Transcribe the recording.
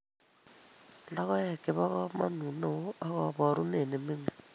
Logoek che bo kamanut ne oo ak kaboorunet ne ming'in